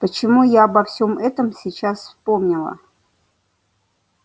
почему я обо всём этом сейчас вспомнила